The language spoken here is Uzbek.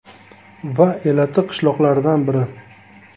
Va elati qishloqlaridan biri.